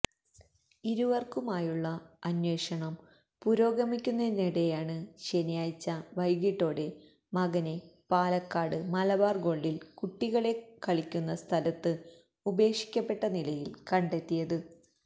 ഇരുവർക്കുമായുള്ള അന്വേഷണം പുരോഗമിക്കുന്നതിനിടെയാണ് ശനിയാഴ്ച വൈകിട്ടോടെ മകനെ പാലക്കാട് മലബാർ ഗോൾഡിൽ കുട്ടികളെ കളിക്കുന്ന സ്ഥലത്ത് ഉപേക്ഷിക്കപ്പെട്ട നിലയിൽ കണ്ടെത്തിയത്